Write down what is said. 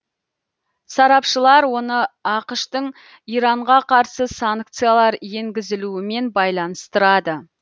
сарапшылар оны ақш тың иранға қарсы санкциялар енгізілуімен байланыстырады